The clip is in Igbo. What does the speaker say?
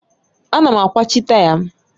Ana m akwachi taya m.